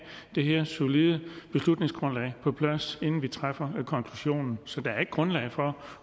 det her solide beslutningsgrundlag på plads inden vi træffer konklusionen så der er ikke grundlag for